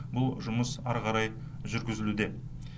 бұл жұмыс ары қарай жүргізілуде